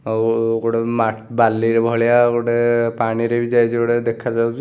ଆଉ ଗୋଟେ ମା ବାଲି ଭଳିଆ ଗୋଟେ ପାଣିରେ ବି ଯାଇଛି ଗୋଟେ ଦେଖାଯାଉଛି ।